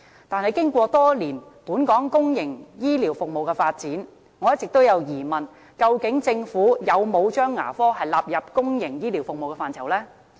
但是，經過多年本港公營醫療服務的發展，我一直有疑問，究竟政府有否將牙科納入公營醫療服務的範疇？